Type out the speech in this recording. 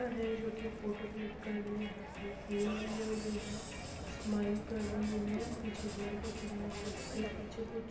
यह है जोकि फोटो किल्क कर रही है। हाथ में फोन लिए हुए हैं। स्माइल कर रही है। पीछे लड़का खड़ा है। बाइक पे पिछे कुछ --